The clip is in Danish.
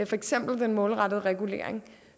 for eksempel den målrettede regulering